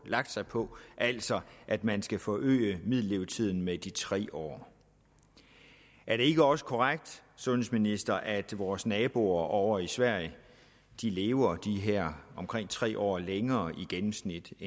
lagt sig på altså at man skal forøge middellevetiden med de tre år er det ikke også korrekt sundhedsministeren at vores naboer ovre i sverige lever de her omkring tre år længere i gennemsnit